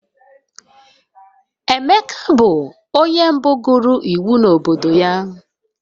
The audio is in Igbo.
Emeka bụ onye mbụ gụrụ iwu n'obodo ya